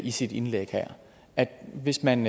i sit indlæg her at hvis man